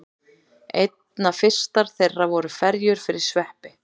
Einna fyrstar þeirra voru ferjur fyrir sveppi.